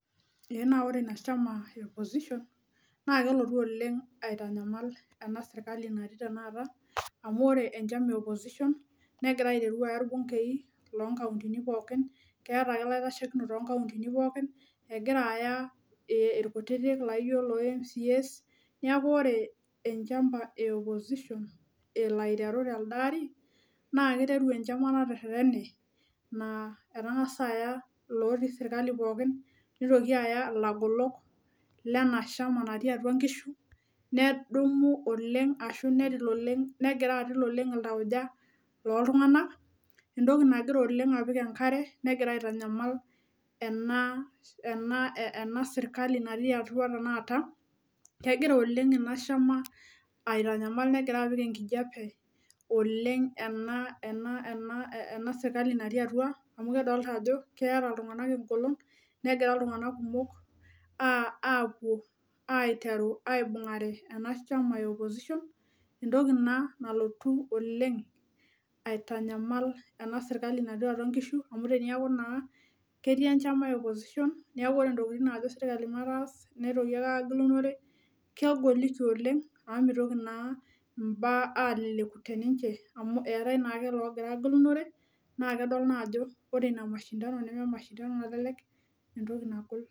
Ee ore ina chama eopposition naa kelotu oleng aitanyamal ena sirkali natii tenakata amu ore enchama eopposition negira aiteru aya irbungei lonkauntin pookin , keeta ake ilaitashekinok toonkauntin pookin , egira aya irkutitik laijo lomcas , niaku ore emchama eopposition elo aiteru telde ari naa kiteru enchama natererene naa etangasa aya ilotii sirkali pookin, nitoki aya ilabolok lena shama natii atua nkishu, nedumu oleng ashu netil oleng , negira atil oleng iltauja loltunganak, entoki nagira apik oleng enkare negira aitanyamal ena, ena , ena sirkali natii atua tenakata , kegira oleng inashama aitanyamal , negira apik enkijape oleng ena, ena , ena sirkali natii atua amu kedoolta ajo keeta iltunganak engolon , negira iltunganak kumok apuo aiteru aibungare ena shama eopposition , entoki ina nalotu oleng aitanyamal ena sirkali natii atua nkishu amu teniaku naa ketii enchama eopposition , niaku ore ntokitin najo sirkali mataas , nitoki ake agilunore , kegoliki oleng amu mitoki naa mbaa aleleku teninche amu eetae naake logira agilunore naa kedol naa ajo ore ina mashindano naa kenyor mashindano nalelek entoki nagol.